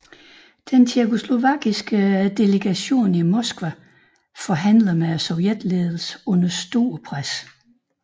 Den tjekkoslovakiske delegation i Moskva forhandler med sovjetledelsen under stort pres